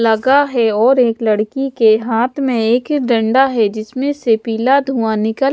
लगा है और एक लड़की के हाथ में एक डंडा है जिसमें से पिला धुआं निकल--